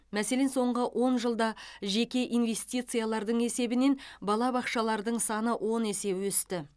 мәселен соңғы он жылда жеке инвестициялардың есебінен балабақшалардың саны он есе өсті